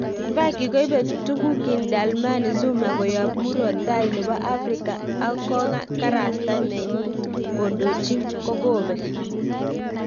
faki koipe tugukin Dlamini Zuma koyap murot tai nepo afrika akong kasarta neyin kondochi kokopek